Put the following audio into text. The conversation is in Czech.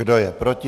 Kdo je proti?